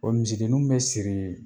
O misidenninw bɛ siri ye